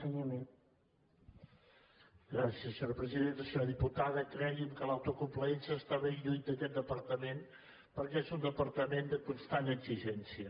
senyora diputada cregui’m que l’autocomplaença està ben lluny d’aquest departament perquè és un departament de constant exigència